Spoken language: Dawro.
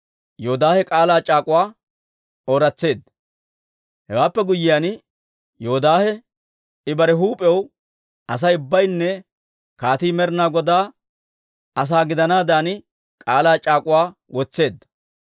Hewaappe guyyiyaan, Yoodaahe I bare huup'iyaw, Asay ubbaynne kaatii Med'inaa Godaa asaa gidanaadan k'aalaa c'aak'uwaa wotseedda.